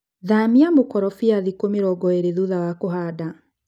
Thania mũkorobia thikũ mĩrongo ĩrĩ thutha wa kũhanda.